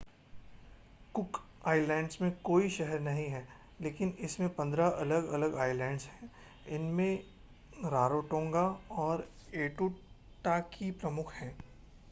cook Islands में कोई शहर नहीं है लेकिन इसमें 15 अलग-अलग आइलैंड्स हैं इनमें रारोटोंगा और ऐटूटाकी प्रमुख हैं